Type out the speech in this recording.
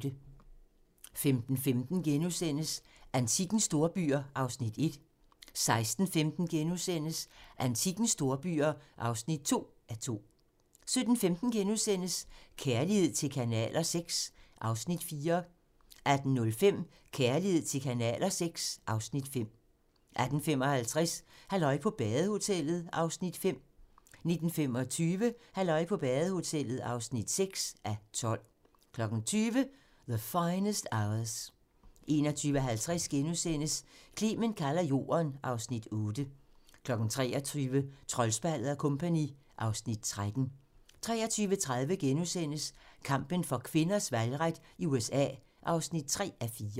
15:15: Antikkens storbyer (1:2)* 16:15: Antikkens storbyer (2:2)* 17:15: Kærlighed til kanaler VI (Afs. 4)* 18:05: Kærlighed til kanaler VI (Afs. 5) 18:55: Halløj på badehotellet (5:12) 19:25: Halløj på badehotellet (6:12) 20:00: The Finest Hours 21:50: Clement kalder Jorden (Afs. 8)* 23:00: Troldspejlet & Co. (Afs. 13) 23:30: Kampen for kvinders valgret i USA (3:4)*